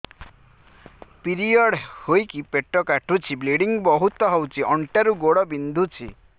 period ହୋଇକି ପେଟ କାଟୁଛି ବ୍ଲିଡ଼ିଙ୍ଗ ବହୁତ ହଉଚି ଅଣ୍ଟା ରୁ ଗୋଡ ବିନ୍ଧୁଛି